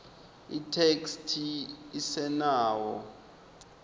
itheksthi isenawo